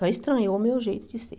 Só estranhou o meu jeito de ser.